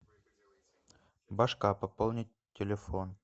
башка пополнить телефон